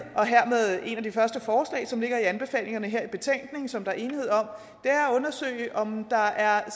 et af de første forslag som ligger i anbefalingerne her i betænkningen og som der er enighed om at undersøge om der er